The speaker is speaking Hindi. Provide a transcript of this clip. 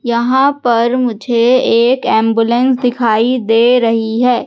यहां पर मुझे एक एंबुलेंस दिखाई दे रही है।